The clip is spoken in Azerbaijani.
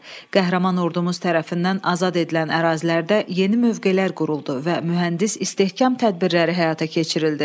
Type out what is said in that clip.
Qəhrəman ordumuz tərəfindən azad edilən ərazilərdə yeni mövqelər quruldu və mühəndis istehkam tədbirləri həyata keçirildi.